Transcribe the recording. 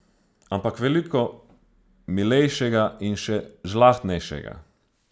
Ampak veliko milejšega in še žlahtnejšega.